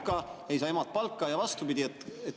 … anda valitsusele malka, ei saa emad palka ja vastupidi.